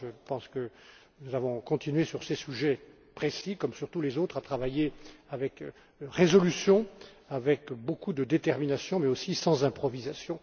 Je pense que nous avons continué sur ces sujets précis, comme sur tous les autres, à travailler avec résolution, avec beaucoup de détermination, mais aussi sans improvisation.